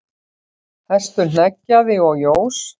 Hestur hneggjaði og jós.